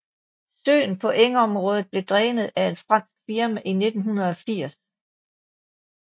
Søen på engområdet blev drænet af et fransk firma i 1980